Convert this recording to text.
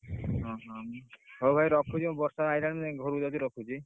ଓଃ, ହଉ ଭାଇ ରଖୁଛି ବର୍ଷା ଆଇଲାଣି ମୁଁ ଘର କୁ ଯାଉଛି ମୁଁ ରଖୁଛି।